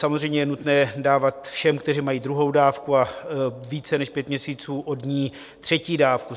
Samozřejmě je nutné dávat všem, kteří mají druhou dávku a více než pět měsíců od ní, třetí dávku.